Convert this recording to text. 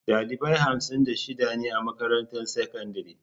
Dalibai hamsin da shida ne a makarantar sakandare.